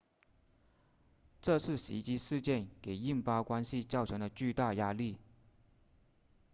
这次袭击事件给印巴关系造成了巨大压力